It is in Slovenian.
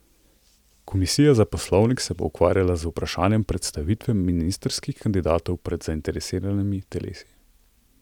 Komisija za poslovnik se bo ukvarjala z vprašanjem predstavitve ministrskih kandidatov pred zainteresiranimi telesi.